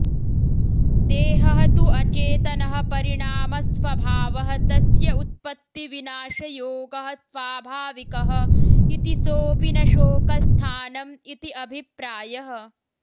देहः तु अचेतनः परिणामस्वभावः तस्य उत्पत्तिविनाशयोगः स्वाभाविकः इति सोऽपि न शोकस्थानम् इति अभिप्रायः